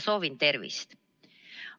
Soovin teile tervist!